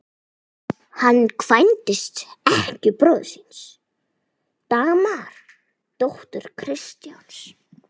Hann kvæntist ekkju bróður síns, Dagmar, dóttur Kristjáns